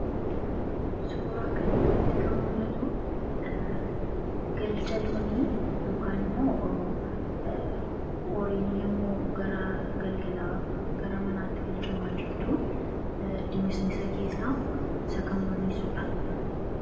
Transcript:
Suuraa kanaa gadii irratti kan argamu galcha loonii yookiin immoo horiin yammuu gara manaatti galuu dha. Innis dimimmisa keessa dha.